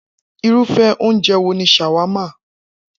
Irúfé̩ oúnje̩ wo ni s̩àwámà?